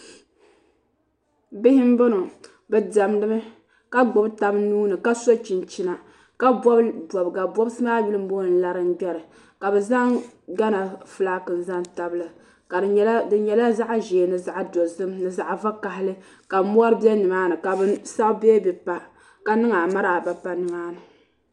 Bihi n bɔŋɔ bi. diɛmdimi ka gbubi gabi nuuni ka so cjhinchina ka bobi obbisi bobigi maa yuli n booni larigberi ka zan Gana fulaaki zan tabili di nyɛla zaɣ'dozim ni zaɣi vakahali ka mori bɛ nimaani ka bɛ sabi beebi pa ka niŋ amaaraaba n pa niŋ amaaraaba n pa nimaani